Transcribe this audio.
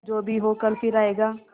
जो भी हो कल फिर आएगा